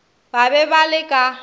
ba be ba le ka